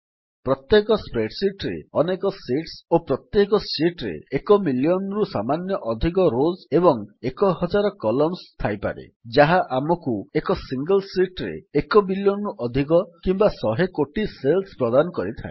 ପ୍ରତ୍ୟେକ ସ୍ପ୍ରେଡଶିଟ୍ ରେ ଅନେକ ଶିଟ୍ସ ଓ ପ୍ରତ୍ୟେକ ଶିଟ୍ ରେ ଏକ ମିଲିୟନ୍ ରୁ ସାମାନ୍ୟ ଅଧିକ ରୋଜ୍ ଏବଂ ଏକ ହଜାର କଲମ୍ନସ୍ ଥାଇପାରେ ଯାହା ଆମକୁ ଏକ ସିଙ୍ଗଲ୍ ଶିଟ୍ ରେ ଏକ ବିଲିୟନ୍ ରୁ ଅଧିକ କିମ୍ୱା ଶହେ କୋଟି ସେଲ୍ସ ପ୍ରଦାନ କରିଥାଏ